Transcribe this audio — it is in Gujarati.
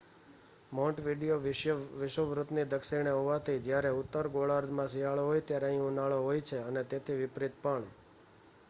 મૉન્ટવિડિયો વિષુવવૃત્તની દક્ષિણે હોવાથી જ્યારે ઉત્તર ગોળાર્ધમાં શિયાળો હોય ત્યારે અહીં ઉનાળો હોય અને તેથી વિપરીત પણ